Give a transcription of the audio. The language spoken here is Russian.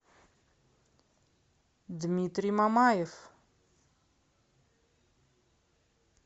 дмитрий мамаев